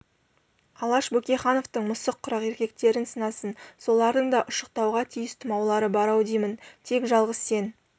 алаш бөкейхановтың мысық құрақ ертектерін сынасын солардың да ұшықтауға тиіс тұмаулары бар-ау деймін тек жалғыз сен